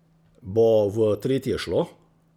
Bo v tretje šlo?